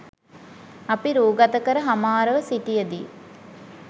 අපි රූගත කර හමාරව සිටියදී